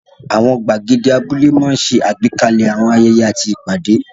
Àwọn gbàgede abúlé máa ń ṣe àgbékalẹ̀ àwọn ayẹyẹ àti ìpàdé.